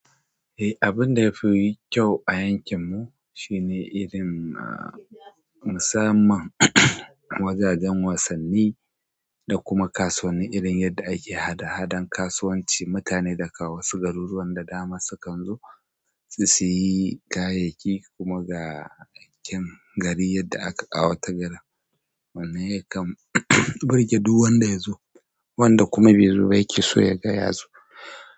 Eh, abin da ya fi yi kyau a yankinmu shine irin musamman wajajen wasanni da kuma kasuwanni, irin yadda ake hada-hadan kasuwanci. Mutane daga wasu garuruwan da dama sukan zo su yi gayayyaki kuma ga yankin gari yadda aka a kwawata gari wanne yakan burge duk wanda ya zo wanda kuma bai zo ba yake so ya ga yazo.